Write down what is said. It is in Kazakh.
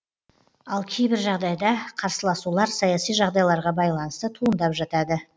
ал кейбір жағдайда қарсыласулар саяси жағдайларға байланысты туындап жатады